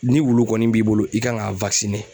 Ni wulu kɔni b'i bolo i kan ka